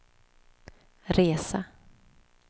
resa